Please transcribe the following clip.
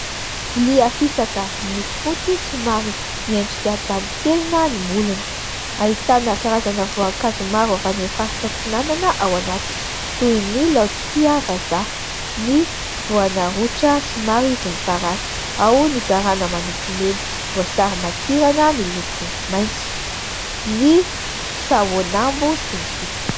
Vilia fisaka miloko fotsy somary miendrika taly tenona ny molony. Ahitana karazana voankazo maro avy any amin' ny faritra atsinanana ao anatin: toy ny laotisia vazaha, ny voana rotra somary volomparasy ao ny garana manompy mena, voasary makirana miloko maitso, ny sahonambo ...